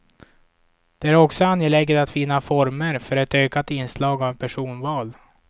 Det är också angeläget att finna former för ett ökat inslag av personval.